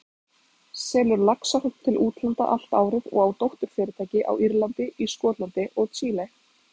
selur laxahrogn til útlanda allt árið og á dótturfyrirtæki á Írlandi, í Skotlandi og Chile.